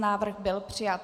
Návrh byl přijat.